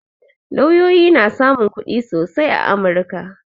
Lauyoyi na samun kuɗi sosai a amurka